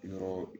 Yɔrɔ